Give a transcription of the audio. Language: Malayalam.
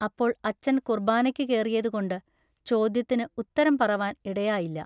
അപ്പോൾ അച്ചൻ കുൎബാനയ്ക്കു കേറിയതു കൊണ്ടു ൟ ചൊദ്യത്തിനു ഉത്തരം പറവാൻ ഇടയായില്ല.